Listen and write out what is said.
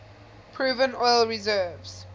proven oil reserves